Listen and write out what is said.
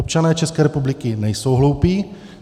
Občané České republiky nejsou hloupí.